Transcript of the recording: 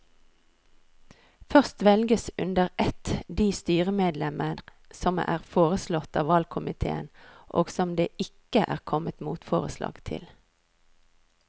Først velges under ett de styremedlemmer som er foreslått av valgkomiteen og som det ikke er kommet motforslag til.